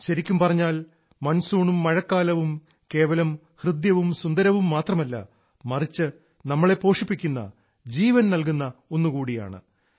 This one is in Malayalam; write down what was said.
ശരിക്കും പറഞ്ഞാൽ മൺസൂണും മഴക്കാലവും കേവലം ഹൃദ്യവും സുന്ദരവും മാത്രമല്ല മറിച്ച് നമ്മളെ പോഷിപ്പിക്കുന്ന ജീവൻ നൽകുന്ന ഒന്നുകൂടിയാണ്